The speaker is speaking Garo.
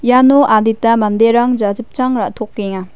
iano adita manderang jachipchang ra·tokenga.